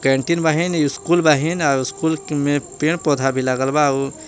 कैन्टिंग बहिं स्कूल बहिं आ स्कूल मे पेड़ पौधा लागल बा आउर--